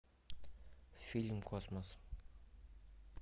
фильм космос